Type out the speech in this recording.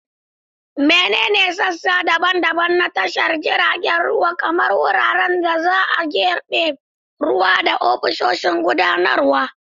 Menene sassa daban-daban na tashar tashar jiragen ruwa, kamar wuraren da za a jibge ruwa da ofisoshin gudanarwa?